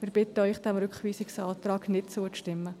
Wir bitten Sie, diesem Rückweisungsantrag nicht zuzustimmen.